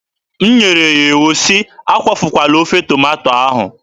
M nyere ya iwu sị, "Akwafukwala ofe tomato ahụ!"